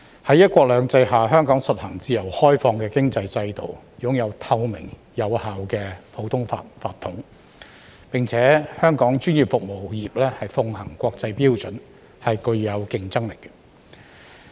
在"一國兩制"下，香港實行自由開放的經濟制度，擁有透明有效的普通法法統，並且香港專業服務業奉行國際標準，具有競爭力。